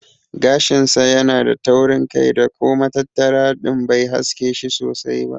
Gashin sa yana da taurin kai da ko matattara din bai haske shi sosai ba.